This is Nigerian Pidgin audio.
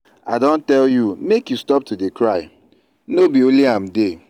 i don tell you make you stop to dey cry. no be only am dey